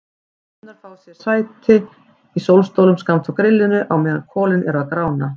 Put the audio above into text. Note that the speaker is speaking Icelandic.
Stelpurnar fá sér sæti í sólstólum skammt frá grillinu á meðan kolin eru að grána.